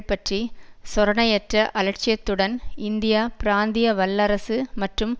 பற்றி சொரணையற்ற அலட்சியத்துடன் இந்தியா பிராந்திய வல்லரசு மற்றும்